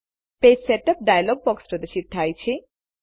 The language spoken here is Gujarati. પેજ સેટઅપ ડાયલોગ બોક્સ પ્રદર્શિત થાય છે